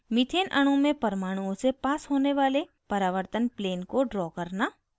methane अणु में परमाणुओं से पास होने वाले परावर्तन plane को draw करना